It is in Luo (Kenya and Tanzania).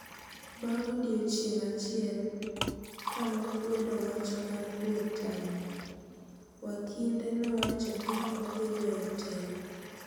Bang' odiochieng' achiel kanokwedo wach mar gwe tao no, wakinde nowacho ni odhi weyo telo